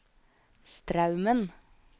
Straumen